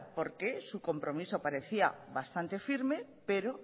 porque su compromiso parecía bastante firme pero